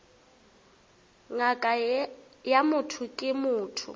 ngaka ya motho ke motho